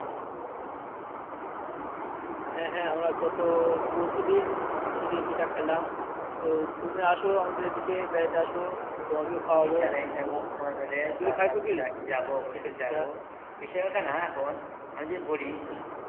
হ্যা হ্যা আমরা গত পরশু দিন শীতের পিঠা খাইলাম তো তুমি আসো আমাদের এদিকে বেড়াইতে আসো তোমাকে ও খাওয়াবো ইনশাল্লাহ ইনশাল্লাহ সময় পেলে যাবো অবশ্য যাবো বিষয় ওটা না এখন তুমি খাইছো কি?